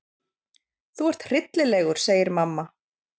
Þú ert hryllilegur, segir mamma.